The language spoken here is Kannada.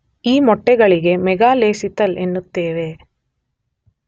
ಈ ಮೊಟ್ಟೆಗಳಿಗೆ ಮೆಗಾಲೆಸಿತಲ್ ಎನ್ನುತ್ತೇವೆ.